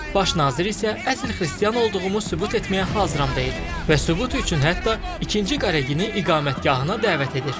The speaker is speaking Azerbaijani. Baş nazir isə əsl xristian olduğumu sübut etməyə hazıram deyir və sübut üçün hətta ikinci Qaregini iqamətgahına dəvət edir.